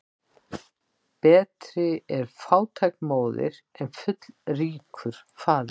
Betri er fátæk móðir en fullríkur faðir.